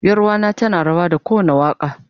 Yaruwa na tana rawa da kowanda waka.